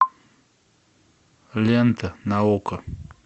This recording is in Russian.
лента на окко